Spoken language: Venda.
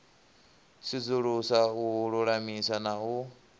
sudzulusa u lulamisa na u